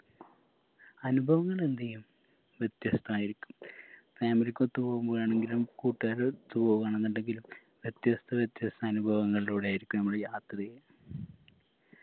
അനുഭവങ്ങൾ എന്തെയ്യും വ്യത്യസ്തയിരിക്കും family ക്കൊത്ത് പോവുമ്പോഴാണെങ്കിലും കൂട്ടുകാരു ഒത്ത് പോവു ആണെന്നുണ്ടെങ്കിലും വ്യത്യസ്ത വ്യത്യസ്ത അനുഭവങ്ങളിലൂടെ ആയിരിക്കും നമ്മള് യാത്രെയ്യുക